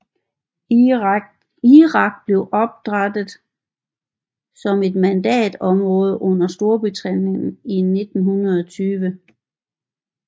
Irak blev oprætet som et mandatområde under Storbritannien i 1920